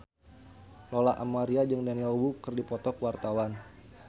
Lola Amaria jeung Daniel Wu keur dipoto ku wartawan